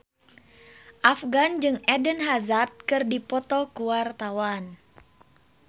Afgan jeung Eden Hazard keur dipoto ku wartawan